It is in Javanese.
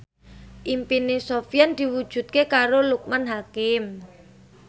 impine Sofyan diwujudke karo Loekman Hakim